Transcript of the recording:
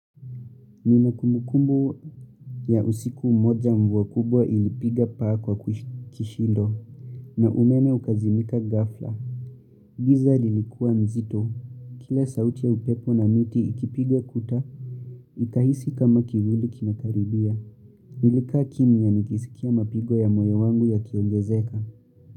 Nina kumbukumbu ya usiku moja mvua kubwa ilipiga paa kwa kishindo na umeme ukazimika ghafla. Giza lilikuwa mzito. Kila sauti ya upepo na miti ikipiga kuta, ikahisi kama kivuli kinakaribia. Nilika kimya nikisikia mapigo ya moyo wangu yakiongezeka.